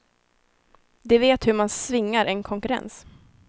De vet hur man svingar en konkurrens.